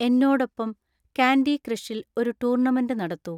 എന്നോടൊപ്പം കാൻഡി ക്രഷിൽ ഒരു ടൂർണമെന്റ് നടത്തൂ